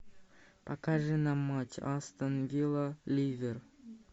покажи нам матч астон вилла ливер